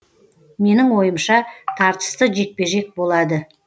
менің ойымша тартысты жекпе жек болады